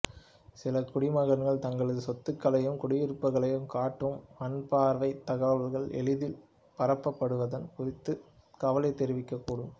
சில குடிமகன்கள் தங்களது சொத்துக்களையும் குடியிருப்புக்களையும் காட்டும் வான்பார்வைத் தகவல்கள் எளிதில் பரப்பப்படுவது குறித்துத் கவலை தெரிவிக்கக்கூடும்